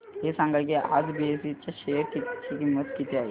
हे सांगा की आज बीएसई च्या शेअर ची किंमत किती आहे